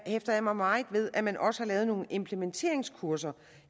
hæfter jeg mig meget ved at man også har lavet nogle implementeringskurser